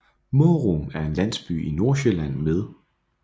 Mårum er en landsby i Nordsjælland med